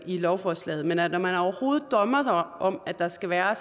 i lovforslaget men at man overhovedet drømmer om at der skal være